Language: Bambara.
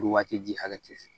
Foro waati ji hakɛ tɛ sɔrɔ